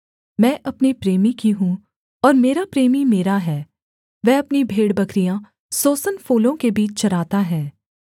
मैं अपने प्रेमी की हूँ और मेरा प्रेमी मेरा है वह अपनी भेड़बकरियाँ सोसन फूलों के बीच चराता है